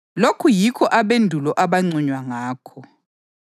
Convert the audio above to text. Lokhu yikho abendulo abanconywa ngakho.